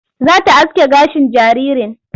Za ta aske gashin jaririn.